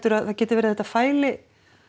að það geti verið að þetta fæli